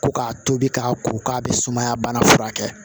Ko k'a tobi k'a ko k'a bɛ sumaya bana furakɛ